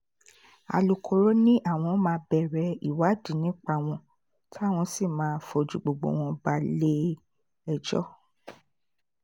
alūkkóró ni àwọn máa bẹ̀rẹ̀ ìwádìí nípa wọn táwọn sì máa fojú gbogbo wọn balẹ̀-ẹjọ́